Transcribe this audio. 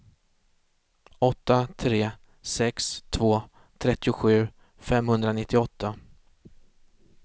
åtta tre sex två trettiosju femhundranittioåtta